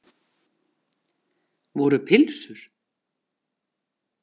Voru pylsur?